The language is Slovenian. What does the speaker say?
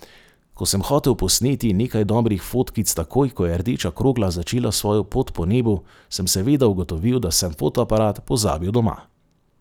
Ko sem hotel posneti nekaj dobrih fotkic takoj, ko je rdeča krogla začela svojo pot po nebu, sem seveda ugotovil, da sem fotoaparat pozabil doma.